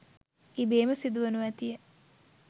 ඉබේම සිදුවනු ඇතිය.